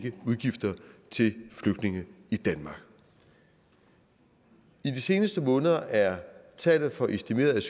udgifter til flygtninge i danmark i de seneste måneder er tallet for estimerede